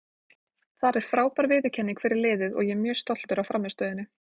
Þar er frábær viðurkenning fyrir liðið og ég er mjög stoltur af frammistöðunni.